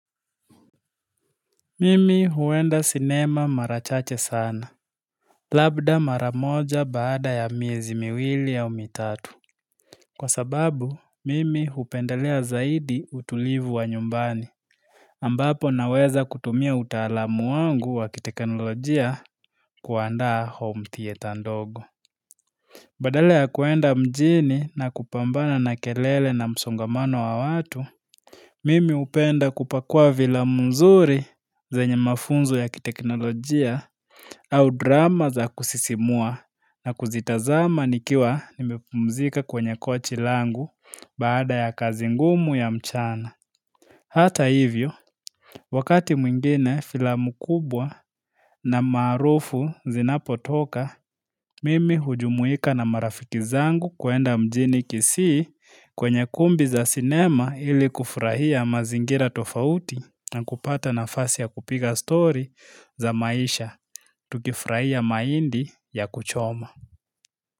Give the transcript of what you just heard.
Mimi huenda sinema mara chache sana Labda mara moja baada ya miezi miwili au mitatu Kwa sababu, mimi hupendelea zaidi utulivu wa nyumbani ambapo naweza kutumia utaalamu wangu wa kiteknolojia kuandaa home theatre ndogo Badala ya kuenda mjini na kupambana na kelele na msongamano wa watu Mimi hupenda kupakua filamu nzuri zenye mafunzo ya kiteknolojia au drama za kusisimua na kuzitazama nikiwa nimepumzika kwenye kochi langu baada ya kazi ngumu ya mchana Hata hivyo, wakati mwingine filamu kubwa na marufu zinapo toka Mimi hujumuika na marafiki zangu kuenda mjini kisii kwenye kumbi za sinema ili kufurahia mazingira tofauti na kupata nafasi ya kupiga story za maisha Tukifurahia mahindi ya kuchoma.